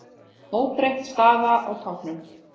Óbreytt staða á toppnum